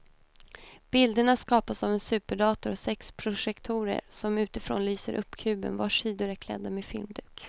Bilderna skapas av en superdator och sex projektorer som utifrån lyser upp kuben vars sidor är klädda med filmduk.